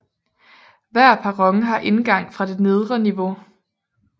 Hver perron har indgang fra det nedre niveau